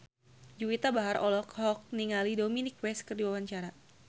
Juwita Bahar olohok ningali Dominic West keur diwawancara